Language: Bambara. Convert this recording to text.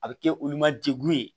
A bɛ kɛ olu ma degun ye